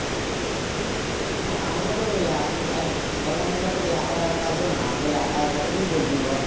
হ্যাঁ ওটা তো ওই আহ মানে আরে online এর কাজ তোর একালার কাজও না ধর একা আর কতটুকু করবি বল?